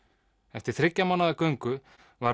eftir þriggja mánaða göngu var